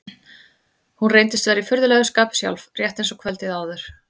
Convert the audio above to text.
Hún reyndist vera í furðulegu skapi sjálf, rétt eins og kvöldið áður.